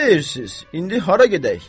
Nə deyirsiz, indi hara gedək?